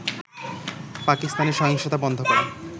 পাকিস্তানে সহিংসতা বন্ধ করা